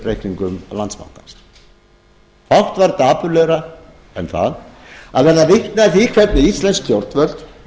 reikningum landsbankans fátt var dapurlegra en það að verða vitni að því hvernig íslensk stjórnvöld